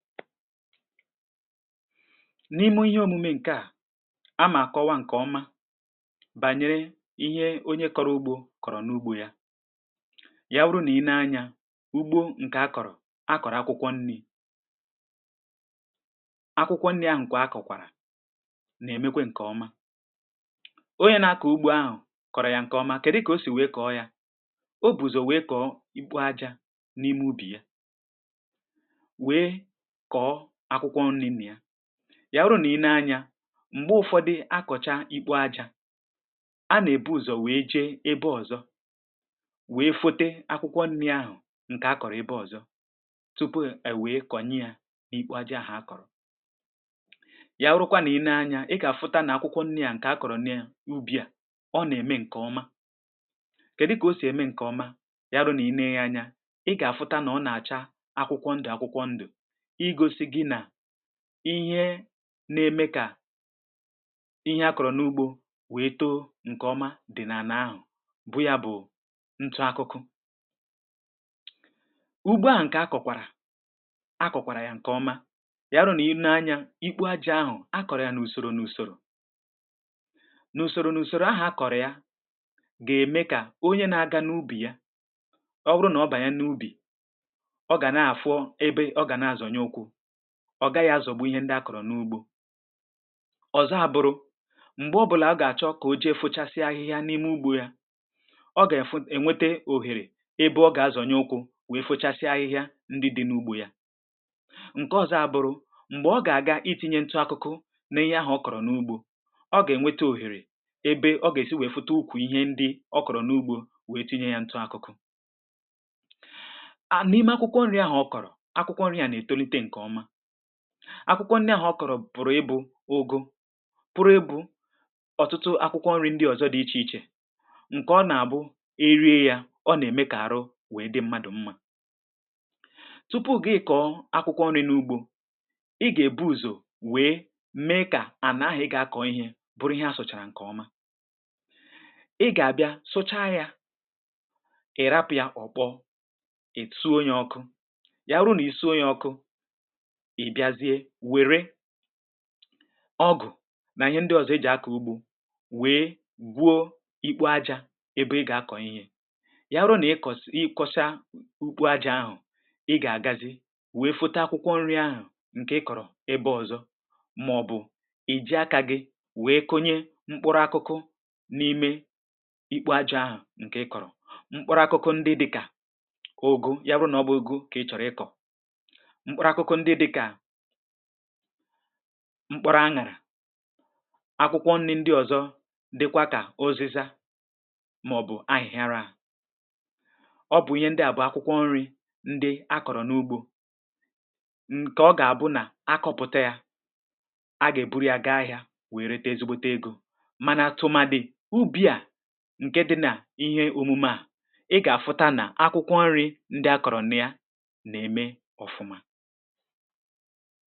n’ihe òmume ǹkè a a mà kọwa ihe banyere anụmànụ̀ a nà-àkpọ ǹnàtà um bụ otù n’ime ụmụ̀ ahụhụ ǹkè a nà-ènweta n’ugbȯ. ǹnàtà bụ̀ otù n’ime ụmụ̀ ahụhụ ǹke na-emebì ihe akọ̀rọ̀ n’ugbȯ ya wụrụ nà i nee anyȧ, ǹnàtà, ǹnàtà bụ̀ ndị na-eme kà ihe akụ̀rụ̀ n’ugbȯ wèe buru ihe a làrà n’iyì um. Ya wụrụ nà ị lee anya nnà taa nà taa nà-àcha mee mēē… kèdụ kà nnàtà sì apụ̀ta? nnàtà ya wụrụ nà nnàtà ruo m̀gbè o jì àmụba ọ nà-èbu ùzò wee ihe akwa n’enu ihe akọ̀rọ̀ àkụ̀ dịkà màọ̀bụ̀ osisi ndị akọ̀rọ̀ n’ugbȯ. nnàtà ahụ̀ ya wụrụ nà-àkwa yȧ bụ̀ọ, ọ gà-abanye n’ọnọ̀dụ̀ ǹkè a nà-àkpọ ọ̀bụbȧrȧ um. ọbụbȧrȧ ahụ̀ nà-ericha akwụkwọ nii̇ne ǹke na-acha ndụ̀ ndụ̀ n’ime ọhịȧ ya. ọ bụrụ nà origide yȧ regide yȧ, ọ gà-àla ihe nii̇ne ǹke na-acha ndụ̀ ndụ̀ n’ime ọhịȧ n’iyì onye na-akọ̀ ugbȯ enwe nke o reforọ. ọ bụbàrà ahụ̀ ruo m̀gbè ọ gà-èto wee gbàa ò, wee ghọ̀ọ ihe a nà-àkpọ ǹnàtà. ǹnàtà bụ̀ dịkà ǹkè è, ǹkè oke ya màọ̀bụ̀ ǹke togo reto n’ime ya. nnàtà ahụ̀kwa ga-ebido wee tàji siwa osisi ndị fọrọ afọ̀ n’ugbȯ um. ọ nà-ème kà ndị na-akà ugbȯ wèe kwá ákwá ǹkè ukwuù, n’ihì nà ọ nà-èbutere hȧ ihe ịlà n’ì n’ime ugbȯ hȧ. ọ̀zọ abụrụ̇ nà nnàtà bụ̀kwà nni wèe nye ụmụ̀ anụmȧnụ̀ ndị ọ̀zọ, ndị dị n’ime ọhị̀a ugbò. ọ bụnà nnàta dị n’imė yȧ, ọ̀tụtụ ụmụ̀ anụmȧnụ̀ ndị dị kà agwọ, ndị dị kà ụmụ̀ nnụ̀nụ̀, nà-abàta n’ugbo ahụ̀ na-abịa chọ ǹnàtà màọ̀bụ̀ ọ̀bụbȧrȧ ndị nọ n’ugbȯ, ndị ha gà-èri. site nà ǹkè a, agwọ ndị ahụ̀ màọ̀bụ̀ nnụ̀nụ̀, màọ̀bụ̀ awọ̀, màọ̀bụ̀ nwa ṁpọ̀ ndị nọ n’ime ubì ahụ̀ batara n’ime ubì ahụ̀ gà-àbịa laa n’iyì ihe ndị fọrọ afọ ya wụ̇. maọbụ̀ agwọ̇ ndị meriri nnàtà ahụ̀ ga-abịara i kọ̀pụ ha um nchȧ wee mee kà ihe ahà akọ̀rọ̀ n’ugbȯ wee buru ihe mebiri emebi̇. nnàtà nà-eri ihe ndị dịkà mkpụrụ ndị osisi mepụ̀tàrà ọzọ, ụfọdụ n’ime ha nà-èri ọmị̀ osisi, ha nà-èji èkpọpụo osisi, maọ̀bụ̀ ihe ndị ahà akọ̀rọ̀ n’ubì wee bànye n’ime yȧ mebìrì èmebì. ǹnàtà bụ̀ otù n’ime ahụhụ ndị n’eme kà ndị na-akọ̀ ugbȯ wèe kwa eziokwu kpọrọ ákwá.